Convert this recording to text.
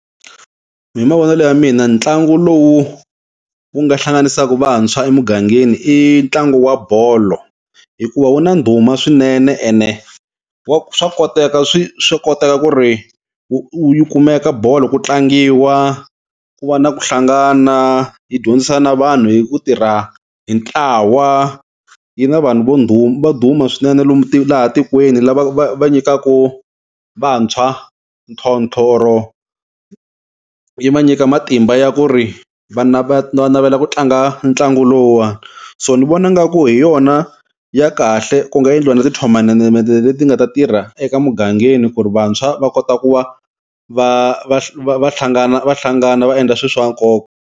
Hi mavonelo ya mina ntlangu lowu wu nga hlanganisaka vantshwa emugangeni i ntlangu wa bolo hikuva wu na ndhuma swinene ene wa swa koteka swi swa koteka ku ri wu yi kumeka bolo ku tlangiwa ku va na ku hlangana hi dyondzisa na vanhu hi ku tirha hi ntlawa, yi nga vanhu vo duma va duma swinene lomu laha tikweni lava va va nyikaka vantshwa yi va nyika matimba ya ku ri va navela ku tlanga ntlangu lowuwani so ni vona nga ku hi yona ya kahle ku nga endliwa na ti-tournament leti nga ta tirha eka mugangeni ku ri vantshwa va kota ku va va va va hlangana va hlangana va endla swilo swa nkoka.